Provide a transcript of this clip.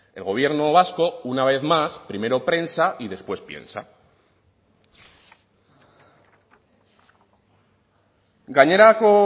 el gobierno vasco una vez más primero prensa y después piensa gainerako